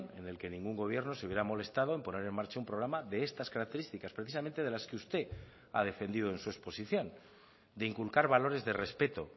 en el que ningún gobierno se hubiera molestado en poner en marcha un programa de estas características precisamente de las que usted ha defendido en su exposición de inculcar valores de respeto